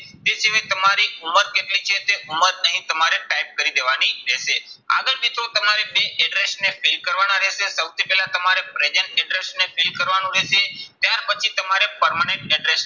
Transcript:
તે સિવાય તમારી ઉંમર કેટલી છે તે ઉંમર અહીં તમારે type કરી દેવાની રહેશે. આગળ મિત્રો તમારે બે address ને fill કરવાના રહેશે. સૌથી પહેલા તમારે present address ને fill કરવાનું રહેશે. ત્યાર પછી તમારે permanent address